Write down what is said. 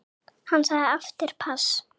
Hann sagði aftur pass.